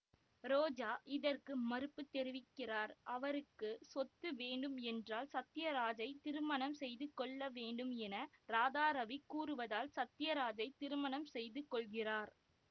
ரோஜா இதற்கு மறுப்பு தெரிவிக்கிறார் அவருக்கு சொத்து வேண்டும் என்றால் சத்தியராஜைத் திருமணம் செய்து கொள்ளவேண்டும் என இராதாரவி கூறுவதால் சத்தியராஜைத் திருமணம் செய்து கொள்கிறார்